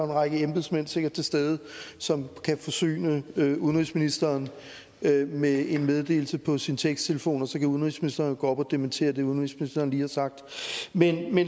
række embedsmænd til stede som kan forsyne udenrigsministeren med en meddelelse på sin teksttelefon og så kan udenrigsministeren jo gå op og dementere det udenrigsministeren lige har sagt men